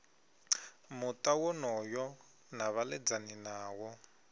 muta wonoyo na vhaledzani nawo